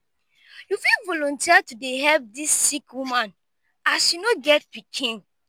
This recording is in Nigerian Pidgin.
you fit volunteer to dey help dis sick woman as she no get pikin.